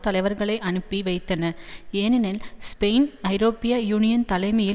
தலைவர்களை அனுப்பி வைத்தன ஏனெனில் ஸ்பெயின் ஐரோப்பிய யூனியன் தலைமையில்